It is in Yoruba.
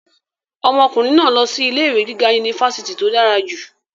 ọmọkùnrin náà lọ sí ilé ìwé gíga unifásitì tó dára jù